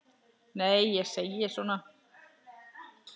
Nei, ég segi svona.